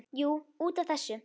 Jú, út af þessu.